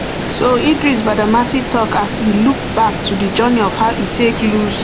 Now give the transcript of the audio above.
so idris badamasi tok as e look back to di journey of how e take lose